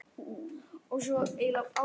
Rataði ekki einu sinni í næstu götu!